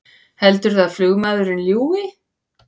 Heldurðu að flugmaðurinn ljúgi!